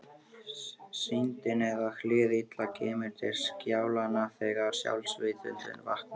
Syndin eða hið illa kemur til skjalanna þegar sjálfsvitundin vaknar.